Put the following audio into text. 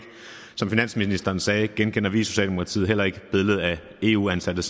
finansministeren sagde genkender vi i socialdemokratiet heller ikke billedet af eu ansatte